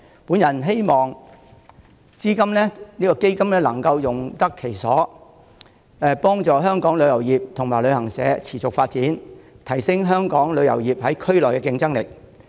我希望基金能夠用得其所，幫助香港旅遊業及旅行社持續發展，提升香港旅遊業在區內的競爭力。